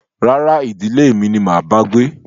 Rárá, ìdílé mi ni máa bá gbé